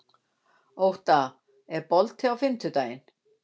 Ótta, er bolti á fimmtudaginn?